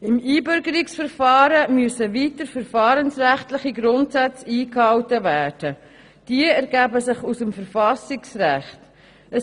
Im Einbürgerungsverfahren müssen weiter verfahrensrechtliche Grundsätze eingehalten werden, die sich aus dem Verfassungsrecht ableiten.